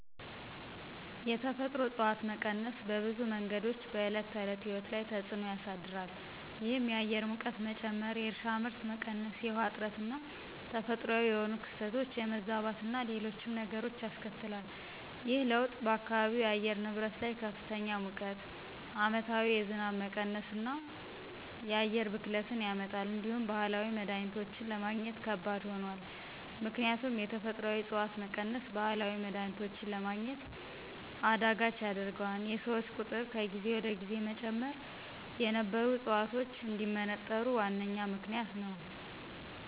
የተፈጥሮ እፅዋት መቀነስ በብዙ መንገዶች በዕለት ተዕለት ሕይወት ላይ ተፅዕኖ ያሳድራል። ይህም የአየር ሙቀት መጨመር፣ የእርሻ ምርት መቀነስ፣ የውሃ እጥረትና ተፈጥሯዊ የሆኑ ክስተቶች የመዛባትና ሌሎችም ነገሮች ያስከትላል። ይህ ለውጥ በአካባቢው የአየር ንብረት ላይ ከፍተኛ ሙቀት፣ ዓመታዊ የዝናብ መቀነስና የአየር ብክለትን ያመጣል። እንዲሁም ባህላዊ መድሀኒቶችን ለማግኘት ከባድ ሆኗል። ምክንያቱም የተፈጥሮአዊ ዕፅዋት መቀነስ ባህላዊ መድሀኒቶችን ለማግኘት አዳጋች ያደርገዋል፤ የሰዎች ቁጥር ከጊዜ ወደ ጊዜ መጨመር የነበሩ ዕፅዋቶች እንዲመነጠሩ ዋነኛ ምክንያት ነዉ።